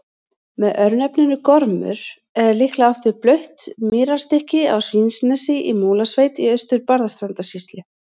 Með örnefninu Gormur er líklega átt við blautt mýrarstykki á Svínanesi í Múlasveit í Austur-Barðastrandarsýslu.